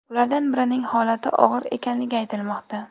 Ulardan birining holati og‘ir ekanligi aytilmoqda.